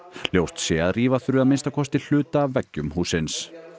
ljóst sé að rífa þurfi að minnsta kosti hluta af veggjum hússins